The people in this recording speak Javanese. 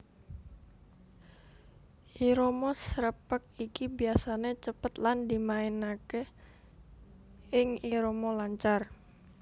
Irama srepeg iki biasané cepet lan dimainaké ing irama lancar